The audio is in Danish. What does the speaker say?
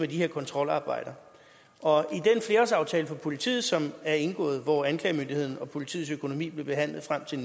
de her kontrolarbejder og i for politiet som er indgået og hvor anklagemyndigheden og politiets økonomi blev behandlet frem til